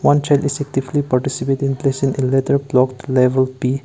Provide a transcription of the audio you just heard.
one child is actively participating place in letter blocked level P.